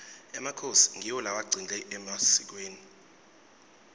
emakhosi ngiwo lewagcile emasikweni